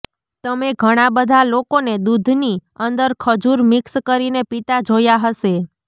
તમે ઘણા બધા લોકોને દૂધની અંદર ખજૂર મિક્સ કરીને પીતા જોયા હશે